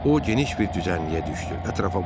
O geniş bir düzənliyə düşdü, ətrafa baxdı.